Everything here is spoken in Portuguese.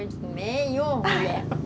Eu disse, nenhum mulher